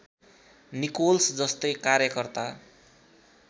Nichols जस्तै कार्यकर्ता